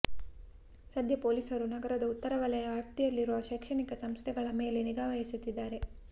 ಸದ್ಯ ಪೊಲೀಸರು ನಗರದ ಉತ್ತರ ವಲಯ ವ್ಯಾಪ್ತಿಯಲ್ಲಿರುವ ಶೈಕ್ಷಣಿಕ ಸಂಸ್ಥೆಗಳ ಮೇಲೆ ನಿಗಾ ವಹಿಸುತ್ತಿದ್ದಾರೆ